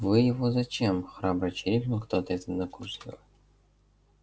вы его зачем храбро чирикнул кто-то из однокурсников